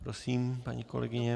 Prosím, paní kolegyně.